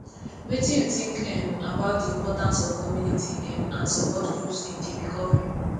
wetin you think um about di importance of community um and support groups in di recovery